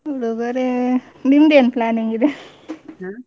ಉಡುಗೊರೆ ನಿಮ್ಮದು ಏನ್ planning ಇದೆ?